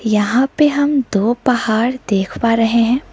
यहां पे हम दो पहाड़ देख पा रहे हैं।